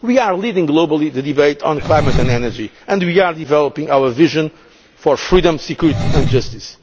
crisis. We are leading globally the debate on climate and energy and we are developing our vision for freedom, security